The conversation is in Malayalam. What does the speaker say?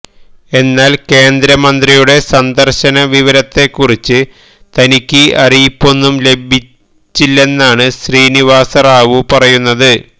എന്നാൽ കേന്ദ്രമന്ത്രിയുടെ സന്ദർശന വിവരത്തെക്കുറിച്ച് തനിക്ക് അറിയിപ്പൊന്നും ലഭിച്ചില്ലെന്നാണ് ശ്രീനിവാസ റാവു പറയുന്നത്